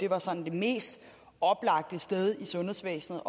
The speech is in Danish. var sådan det mest oplagte sted i sundhedsvæsenet